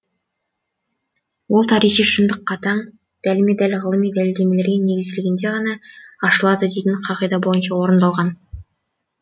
ол тарихи шындық қатаң дәлме дәл ғылыми дәлелдемелерге негізделгенде ғана ашылады дейтін қағида бойынша орындалған